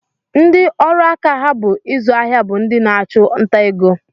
Ndị ọrụaka ha bụ ịzụ ahịa bụ ndị na-achụ nta ego